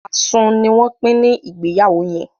asun ní wón Pin ní Ìgbéyàwó yén.